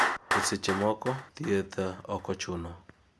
eseche moko, thieth ok ochuno